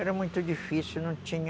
Era muito difícil, não tinha...